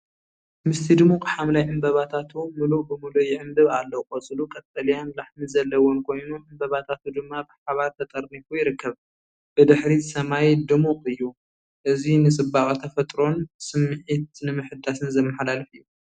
ምስቲ ድሙቕ ሐምላይ ዕምባባታቱ ምሉእ ብምሉእ ይዕምብብ ኣሎ። ቆጽሉ ቀጠልያን ላሕሚ ዘለዎን ኮይኑ፡ ዕምባባታቱ ድማ ብሓባር ተጠርኒፉ ይርከብ። ብድሕሪት ሰማይ ድሙቕ እዩ። እዚ ንጽባቐ ተፈጥሮን ስምዒት ምሕዳስን ዘመሓላልፍ እዩ።